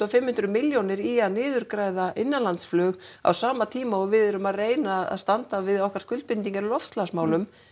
hundruð milljónir í að niðurgreiða innanlandsflug á sama tíma og við erum að reyna að standa við okkar skuldbindingar í loftslagsmálum